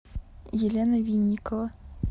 елена винникова